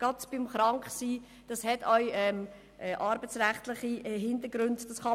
Gerade bei Krankheit gilt es, arbeitsrechtliche Hintergründe zu berücksichtigen;